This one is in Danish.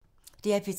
DR P3